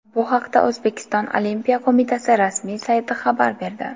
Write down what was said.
Bu haqda O‘zbekiston Olimpiya qo‘mitasi rasmiy sayti xabar berdi .